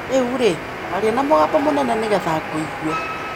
Rĩu-rĩ, aria na mũgambo mũnene nĩ getha ngũigue.